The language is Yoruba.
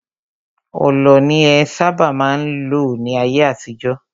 Ọlọ ni en sábà má n lò ní ayé àtijọ́.